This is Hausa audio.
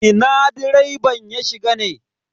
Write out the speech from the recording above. Ina direban ya shiga ne?